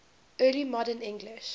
early modern english